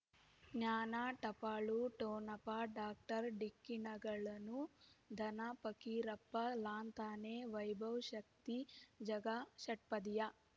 ಜ್ಞಾನ ಟಪಾಲು ಠೊಣಪ ಡಾಕ್ಟರ್ ಢಿಕ್ಕಿ ಣಗಳನು ಧನ ಫಕೀರಪ್ಪ ಳಂತಾನೆ ವೈಭವ್ ಶಕ್ತಿ ಝಗಾ ಷಟ್ಪದಿಯ